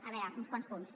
a veure uns quants punts